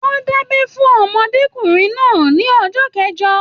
Wọn da'bẹ fún ọmọdékunrin náà ní ọjọ kẹjọ.